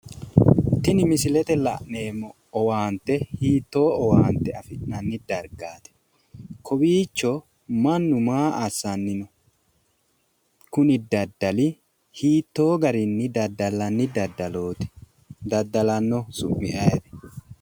Tini misilete la'neemmo owaante hiittoo owaante afi'nanni dargaati? Kowiicho mannu maa assanni no? Kuni daddali hiittoo gariinni daddallanni daddalooti? Daddalannohu su'mi ayiiti?